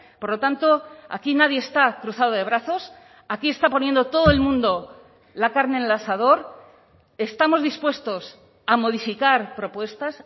por lo tanto aquí nadie está cruzado de brazos aquí está poniendo todo el mundo la carne en el asador estamos dispuestos a modificar propuestas